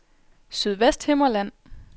Sydvesthimmerland